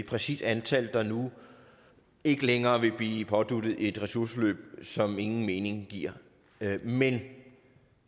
præcist antal der nu ikke længere vil blive påduttet et ressourceforløb som ingen mening giver men